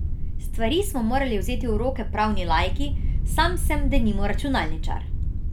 Stvari smo morali vzeti v roke pravni laiki, sam sem denimo računalničar.